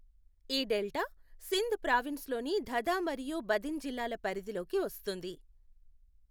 ఈ delta Sindh province లోని థథా మరియు బదిన్ జిల్లాల పరిధిలోకి వస్తుంది.